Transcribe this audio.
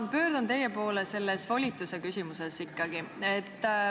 Ma pöördun teie poole ikkagi selles volituse küsimuses.